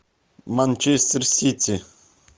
манчестер сити